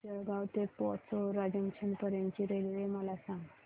जळगाव ते पाचोरा जंक्शन पर्यंतची रेल्वे मला सांग